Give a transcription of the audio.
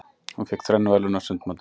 Hún fékk þrenn verðlaun á sundmótinu.